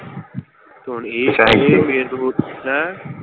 ਇਹ ਹੈਂ?